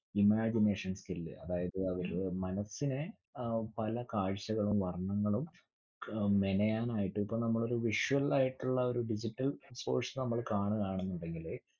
Imagination skill അതായത് അവരുടെ മനസ്സിനെ അഹ് പല കാഴ്ചകളും വർണങ്ങളും അഹ് മെനയാനായിട്ട് ഇപ്പൊ നമ്മളൊരു visual ആയിട്ടുള്ളഒരു digital source നമ്മള് കാണുവാണെന്ന് ഉണ്ടെങ്കില്